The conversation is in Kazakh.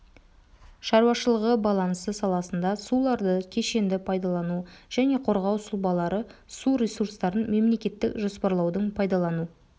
шаруашылығы балансы саласында суларды кешенді пайдалану және қорғау сұлбалары су ресурстарын мемлекеттік жоспарлаудың пайдалану